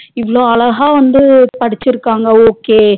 இவ்வளோ அழகா வந்து படிசுருகாங்க okay